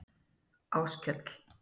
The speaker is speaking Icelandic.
Áskell